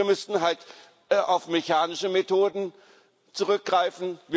Wir müssten halt auf mechanische Methoden zurückgreifen.